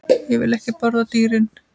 Ég vil ekki borða dýrin.